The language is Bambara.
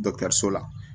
so la